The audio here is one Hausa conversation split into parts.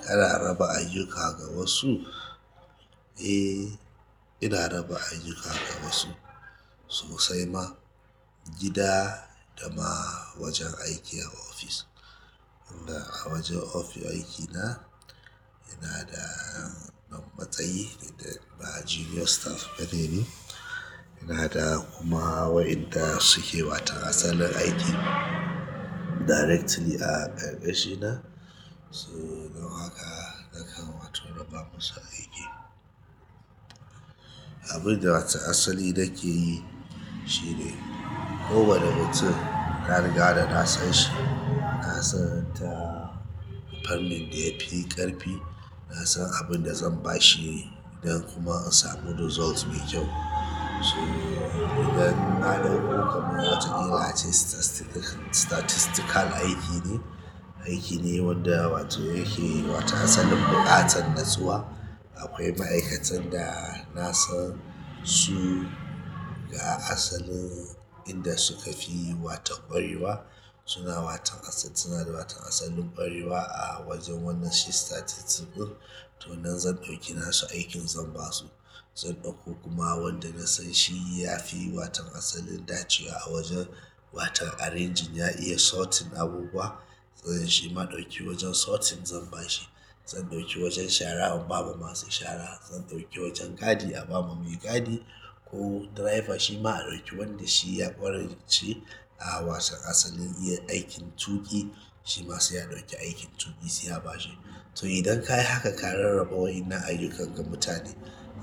Kana raba ayyuka ga wasu? Eh, ina raba ayyuka ga wasu sosai ma gida da ma wajen aiki a ofis. Inda a wajen ofis aikina ina da yan matsayi dukda ma junior staff neni, ina da kuma wa inda suke wata asalin aiki directly a karkashina. Su don haka nakan wato raba musu aiki. Abin da wata asali nake yi shine, kowane wani mutum na riga da nasan shi, nasan ta fannin da yafi ƙarfi, nasan abin da zan bashi don kuma in samu results mai kyau, so idan ana yi kamar wajen ilace statiscal-statistical aiki ne, aiki ne wanda wato yake wato asalin buƙatan natsuwa, akwai ma'aikatan da nasan su, ga asalin inda suka fi wato ƙwarewa suna waton suna asalin ƙwarewa a wajen shi statitis ɗin, to nan zan ɗauki naso aikin zan basu, zan ɗauko kuma wanda nasan shi yafi watan asalin dacewa a wajen watan arranging, ya iya sorting abubuwa, zan shi maɗauki wajen sorting zan bashi, zan ɗauki wajan shara in ba ma masu shara, zan ɗauki wajan gadi a ba ma mai gadi ko driver shi ma a ɗauki wanda shi ya ƙwarence, a wato asalin yin aikin tuƙi, shi ma sai a ɗauki aikin tuƙi sai a bashi. To idan ka yi haka ka rarraba wa'innan ayyuka ga mutane,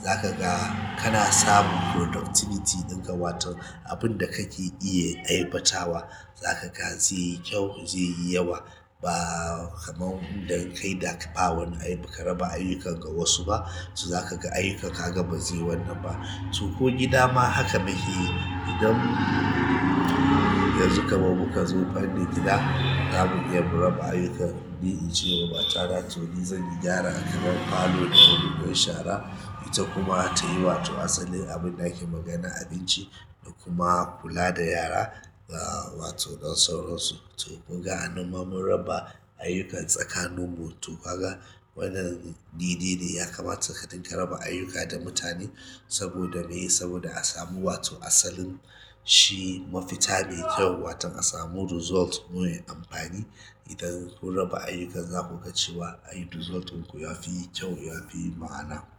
za ka ga kana samun productivity ɗinka wato abun da kake iya aibatawa za ka ga zai yi kyau, zai yi yawa, ba kaman inda ka yi dak- ba wani ai ba ka raba ayyukan ga wasu ba, so za ka ga ayyukan kaga bazai yi wanan ba, to ko gida ma haka muke yi. Idan yanzu kaman muka zo fannin gida, zamu iya mu raba ayyuka, ni in ce wa mata na to ni zan yi gyara a kamar falo ko ni in shara, ita kuma ta yi wato asalin abin ake magana abinci da kuma kula da yara a wato nan sauransu, to kunga anan ma mun raba ayyukan tsakanin mu, to kaga wannan daide ne ya kamata kaɗin ka raba ayyuka da mutane saboda me? Saboda a samu wato asalin shi mafita mai kyau watan a samu results mai amfani, idan kun raba ayyukan zu ka riƙa cewa, ai result ɗin ku yafi kyau, yafi ma'ana,